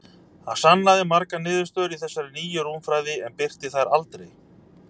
Hann sannaði margar niðurstöður í þessari nýju rúmfræði, en birti þær aldrei.